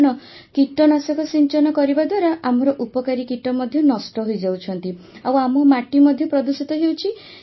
କାରଣ କୀଟନାଶକ ସିଞ୍ଚନ କରିବା ଦ୍ୱାରା ଆମର ଉପକାରୀ କୀଟ ମଧ୍ୟ ନଷ୍ଟ ହୋଇଯାଉଛନ୍ତି ଆଉ ଆମ ମାଟି ମଧ୍ୟ ପ୍ରଦୂଷିତ ହେଉଛି